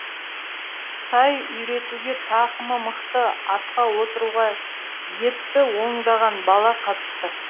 тай үйретуге тақымы мықты атқа отыруға епті ондаған бала қатысты